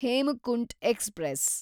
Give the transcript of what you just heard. Hemkunt express